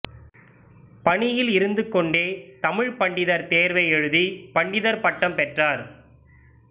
பணியில் இருந்துகொண்டே தமிழ்ப் பண்டிதர் தேர்வை எடுத்து பண்டிதர் பட்டம் பெற்றார்